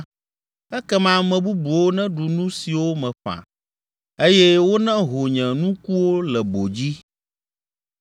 ekema ame bubuwo neɖu nu siwo meƒã eye woneho nye nukuwo le bo dzi.